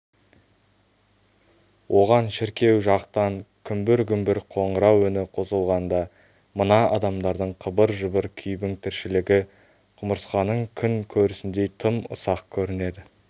оған шіркеу жақтан күмбір-күмбір қоңырау үні қосылғанда мына адамдардың қыбыр-жыбыр күйбің тіршілігі құмырсқаның күн көрісіндей тым ұсақ көрінеді